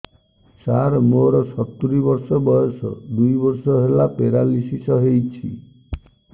ସାର ମୋର ସତୂରୀ ବର୍ଷ ବୟସ ଦୁଇ ବର୍ଷ ହେଲା ପେରାଲିଶିଶ ହେଇଚି